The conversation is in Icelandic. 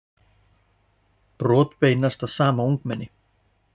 Brot beinast að sama ungmenni